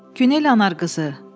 Günel Anarqızı.